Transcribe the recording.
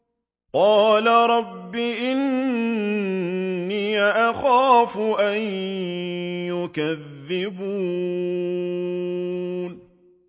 قَالَ رَبِّ إِنِّي أَخَافُ أَن يُكَذِّبُونِ